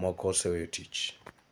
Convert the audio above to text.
moko oseweyo tich.